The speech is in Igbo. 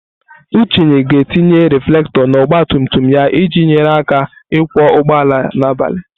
Uche ga-etinye reflektor na ọgba tum tum ya iji nyere ya aka ịkwọ ụgbọala n'abalị.